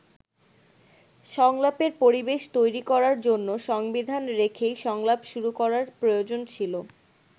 সংলাপের পরিবেশ তৈরি করার জন্য সংবিধান রেখেই সংলাপ শুরু করার প্রয়োজন ছিল।